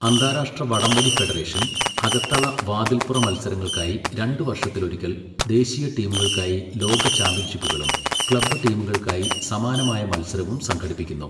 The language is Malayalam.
അന്താരാഷ്ട്ര വടംവലി ഫെഡറേഷൻ, അകത്തള, വാതില്പ്പുറ മത്സരങ്ങൾക്കായി രണ്ട് വർഷത്തിലൊരിക്കൽ ദേശീയ ടീമുകൾക്കായി ലോക ചാമ്പ്യൻഷിപ്പുകളും ക്ലബ് ടീമുകൾക്കായി സമാനമായ മത്സരവും സംഘടിപ്പിക്കുന്നു.